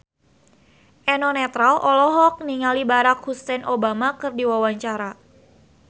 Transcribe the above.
Eno Netral olohok ningali Barack Hussein Obama keur diwawancara